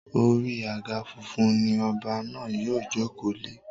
Orí àga funfun ni ọba náà yóò jòkó lé.